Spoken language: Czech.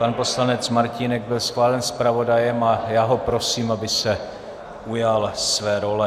Pan poslanec Martínek byl schválen zpravodajem a já ho prosím, aby se ujal své role.